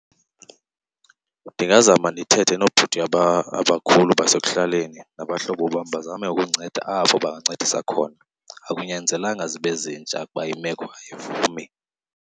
Ndingazama ndithethe noobhuti abakhulu basekuhlaleni nabahlobo bam bazame ukundinceda apho bangancedisa khona. Akunyanzelekanga zibe zintsha ukuba imeko ayivumi.